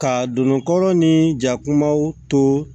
Ka don kɔrɔ ni jakumaw to